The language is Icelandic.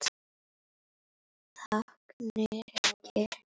Takk, Nikki